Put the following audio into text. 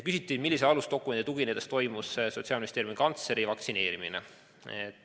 Küsiti, millisele alusdokumendi tuginedes toimus Sotsiaalministeeriumi kantsleri vaktsineerimine.